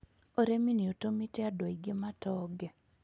Ũrĩmi nĩ ũtũmĩte andũ aingĩ matonge.